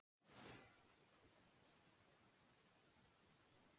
Það er kominn annar tónn í bréfin frá Reykholti, hvað skyldi hann þýða?